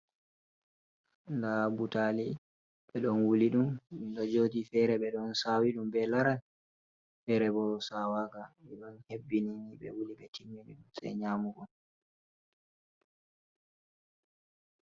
Da butali ɓe don wuli ɗum ɗo jodi fere ɓe don sawi ɗum be laral fere bo sawaga e don hebbini ni ɓe wuli ɓe timmini sei nyamugo.